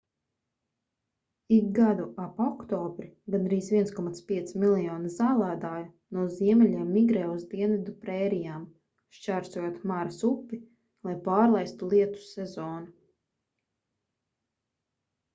ik gadu ap oktobri gandrīz 1,5 miljoni zālēdāju no ziemeļiem migrē uz dienvidu prērijām šķērsojot maras upi lai pārlaistu lietus sezonu